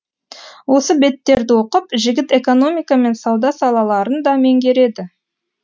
осы беттерді оқып жігіт экономика мен сауда салаларын да меңгереді